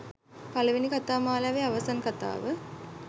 පළවෙනි කතා මාලාවේ අවසන් කතාව.